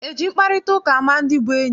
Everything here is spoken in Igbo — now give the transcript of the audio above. Eji mkparịtaụka ama ndị bụ enyi?